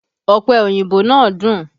Ọpẹ oyinbo náà dùn